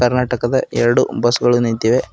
ಕರ್ನಾಟಕದ ಎರಡು ಬಸ್ ಗಳು ನಿಂತಿವೆ.